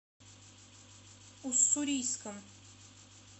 уссурийском